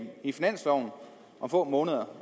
i finansloven om få måneder